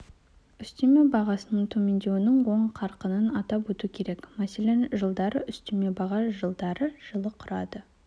үстеме бағасының төмендеуінің оң қарқынын атап өту керек мәселен жылдары үстеме баға жылдары жылы құрады